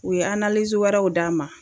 U ye wɛrɛw d'an ma.